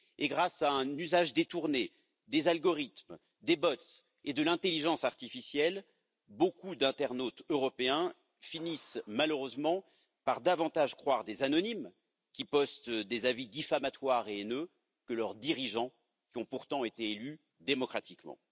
Grâce à un usage détourné des algorithmes, des bots et de l'intelligence artificielle, beaucoup d'internautes européens finissent malheureusement par davantage croire des anonymes, qui postent des avis diffamatoires et haineux, que leurs dirigeants, qui ont pourtant été élus démocratiquement.